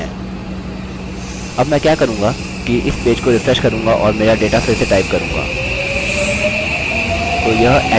अब मैं क्या करूँगा कि इस पेज को रिफ्रेश करूँगा और मेरा डेटा फिर से टाइप करूँगा